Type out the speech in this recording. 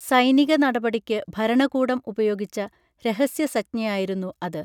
സൈനിക നടപടിക്കു ഭരണകൂടം ഉപയോഗിച്ച രഹസ്യ സംജ്ഞയായിരുന്നു അത്